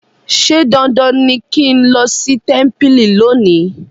ṣe dandan ní kín ló sí tẹmpili lónì.